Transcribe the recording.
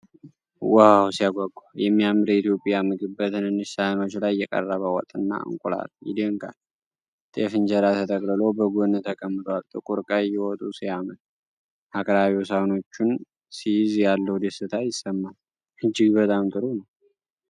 ዋው ሲያጓጓ! የሚያምር የኢትዮጵያ ምግብ! በትንንሽ ሳህኖች ላይ የቀረበ ወጥ እና እንቁላል ይደንቃል። ጤፍ እንጀራ ተጠቅልሎ በጎን ተቀምጧል። ጥቁር ቀይ ወጡ ሲያምር! አቅራቢው ሳህኖቹን ሲይዝ ያለው ደስታ ይሰማል! እጅግ በጣም ጥሩ!